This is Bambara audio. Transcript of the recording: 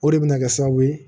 O de bɛ na kɛ sababu ye